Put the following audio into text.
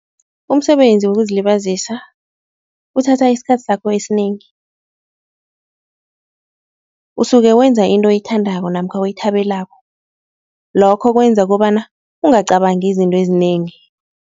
Umsebenzi wokuzilibazisa uthatha isikhathi sakho esinengi. Usuke wenza into oyithandako namkha oyithabelako lokho kwenza kobana ungacabangi izinto ezinengi.